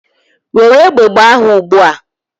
Were egbe gbaa ha ugbu a!